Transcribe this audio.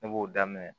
Ne b'o daminɛ